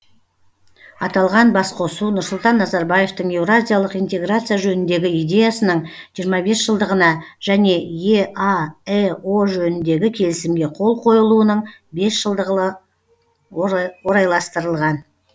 аталған басқосу нұрсұлтан назарбаевтың еуразиялық интеграция жөніндегі идеясының жиырма бес жылдығына және еаэо жөніндегі келісімге қол қойылуының бес жылдығына орайластырылған